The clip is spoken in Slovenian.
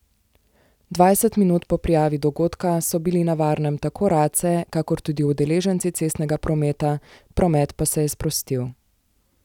Dvajset minut po prijavi dogodka so bili na varnem tako race kakor tudi udeleženci cestnega prometa, promet pa se je sprostil.